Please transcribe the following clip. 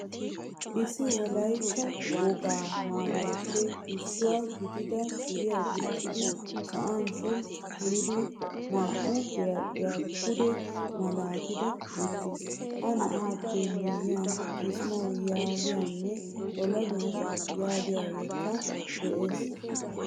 Issi wolaytta wogaa maayuwaappe issuwaa gidida suriyaa gixidi sa'an sholocu giidi naa'u biradhdhiyaa pude malaattidi uttiis. Ha na'aappe miyiyan kisimawu yaagiyaanne xolobiyaa n yaagiyakke de'ees.